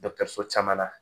so caman na